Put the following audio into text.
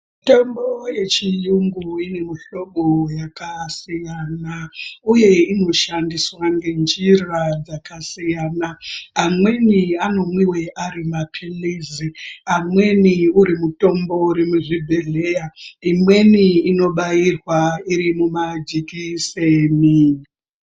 Mitombo yechiyungu ine mihlobo yakasiyana uye inoshandiswa ngenjira dzakasiyana amweni anomwiwe ari mapiritsi amweni uri mutombo uri muzvibhedhleya imwenii inobayirwa irimu jekiseni.